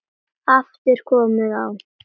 Það var mikil vinna.